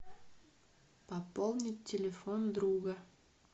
пополнить телефон друга